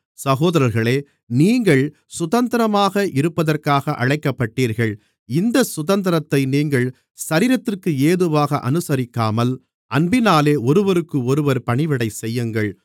சகோதரர்களே நீங்கள் சுதந்திரமாக இருப்பதற்காக அழைக்கப்பட்டீர்கள் இந்தச் சுதந்திரத்தை நீங்கள் சரீரத்திற்கேதுவாக அநுசரிக்காமல் அன்பினாலே ஒருவருக்கொருவர் பணிவிடை செய்யுங்கள்